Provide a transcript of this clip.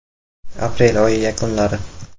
Aprel oyi yakunlari.